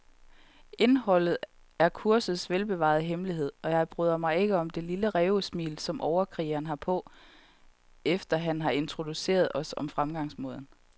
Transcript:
Indholdet er kursets velbevarede hemmelighed, og jeg bryder mig ikke om det lille rævesmil, som overkrigeren har på, efter han har introduceret os om fremgangsmåden.